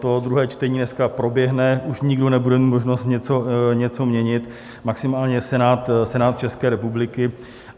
To druhé čtení dneska proběhne, už nikdo nebude mít možnost něco měnit, maximálně Senát České republiky.